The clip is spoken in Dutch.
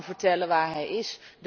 Niemand kan vertellen waar hij is.